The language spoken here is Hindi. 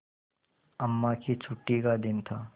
अम्मा की छुट्टी का दिन था